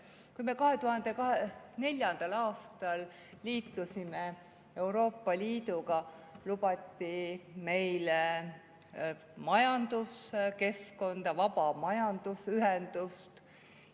Kui me 2004. aastal liitusime Euroopa Liiduga, siis lubati meile majanduskeskkonda, vaba majandusühendust.